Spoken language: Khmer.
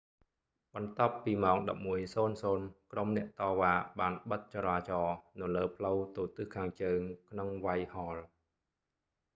បន្ទាប់ពីម៉ោង 11:00 ក្រុមអ្នកតវ៉ាបានបិទច​រាចរណ៍នៅលើផ្លូវទៅទិសខាងជើង ក្នុង វ៉ៃថ៍ហលwhitehall។